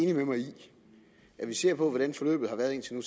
at hvis vi ser på hvordan forløbet har været indtil nu